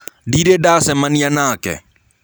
Ndĩrĩ ndacemanĩa nake.